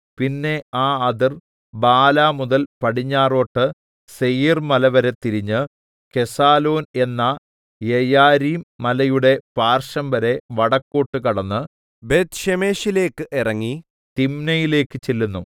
പിന്നെ ആ അതിർ ബാലാ മുതൽ പടിഞ്ഞാറോട്ട് സേയീർമല വരെ തിരിഞ്ഞ് കെസാലോൻ എന്ന യെയാരീം മലയുടെ പാർശ്വംവരെ വടക്കോട്ട് കടന്ന് ബേത്ത്ശേമെശിലേക്ക് ഇറങ്ങി തിമ്നയിലേക്ക് ചെല്ലുന്നു